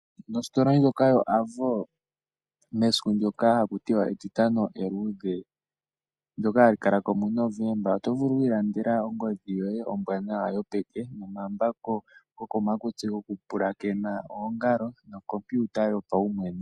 Mositola ndjoka yo Avo, mesiku ndyoka hakutiwa etitano eludhe, ndyoka hali kala ko muNovemba, oto vulu wu ilandele ongodhi yoye ombwanawa yopeke, nomambako gokomakutsi goku pulakena oongalo, nokompiuta yopaumwene.